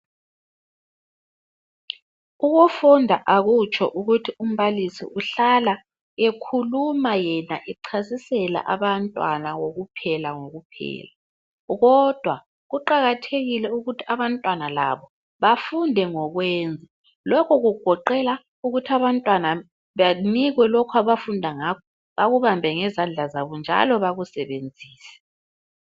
Ukufunda akutsho ukuthi umbalisi uhlala ekhuluma yena echasisela abantwana kokuphela ko kuphela, kodwa kuqakathekile ukuthi abantwana labo bafunde ngo kwenza lokho kugoqela ukuthi abantwana banikwe lokhu abafunda ngakho bakubambe ngezandla zabo njalo bakusebenzise.